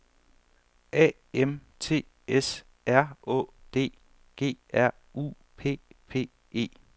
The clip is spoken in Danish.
A M T S R Å D G R U P P E